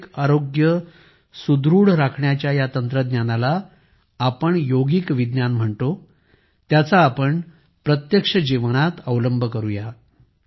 आंतरिक आरोग्य सुदृढ राखण्याच्या या तंत्रज्ञानाला आपण योगिक विज्ञान म्हणतो त्याचा आपण प्रत्यक्ष जीवनात अवलंब करूया